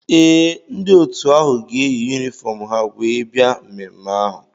Ee, ndị otu ahụ ga-eyi yunifọm ha wee bia mmemme ahụ?